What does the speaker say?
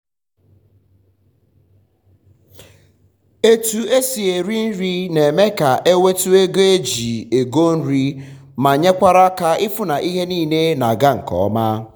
otu esi eri nri na eme ka enwetu ego eji ego nri ma nyekwara aka ịfụ na ihe nile na ga nke ọma